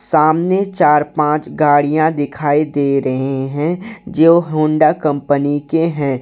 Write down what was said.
सामने चार पांच गाड़ियां दिखाई दे रहे हैं जो होंडा कंपनी के हैं।